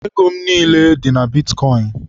Ego m niile dị na bitkọịn